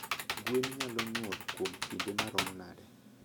Gwen nyalo nyuol kuom kinde maromo nade?